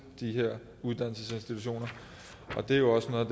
de her uddannelsesinstitutioner det er jo også noget